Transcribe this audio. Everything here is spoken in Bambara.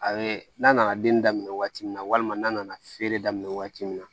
A bɛ n'a nana den daminɛ waati min na walima n'a nana feere daminɛ waati min na